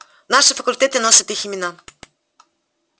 наши факультеты носят их имена